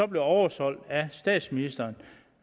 blev oversolgt af statsministeren